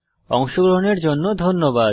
অংশগ্রহনের জন্য ধন্যবাদ